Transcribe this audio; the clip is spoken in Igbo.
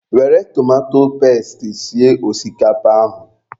Were tomato pesti sie osikapa ahụ.